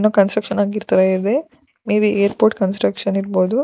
ಇನ್ನು construction ಆಗಿರ್ತಾವೆ ಇವೆ maybe airport construction ಇರ್ಬಹುದು.